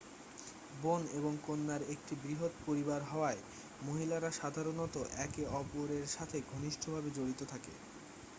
বোন এবং কন্যার একটি বৃহৎ পরিবার হওয়ায় মহিলারা সাধারণত একে অপরেরসাথে ঘনিষ্ঠভাবে জড়িত থাকে